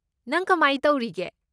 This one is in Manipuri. ꯅꯪ ꯀꯃꯥꯏ ꯇꯧꯔꯤꯒꯦ?